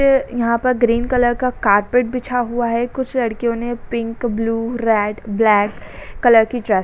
अ यहाँ पर green colour का कारपेट बिछा हुआ है। कुछ लड़कियों ने pink blue red black colour की ड्रेस --